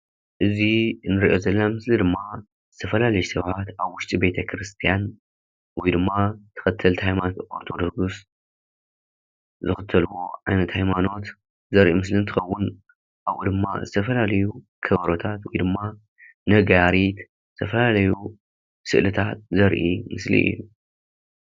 እዚ እንሪኦ ዘለና ምስሊ ድማ ዝተፈላለዩ ሰባት አብ ውሽጢ ቤተ ክርስትያን ወይ ድማ ተከተልቲ ሃይማኖት ኦርቶዶክስ ዝክተልዎ ዓይነት ሃይማኖት ዘርኢ እንትኸውን፤ አብኡ ድማ ዝተፈላለዩ ከበሮታት ወይ ድማ ነጋሪት፣ ዝተፈላለዩ ስእሊታት ዘርኢ ምስሊ እዩ፡፡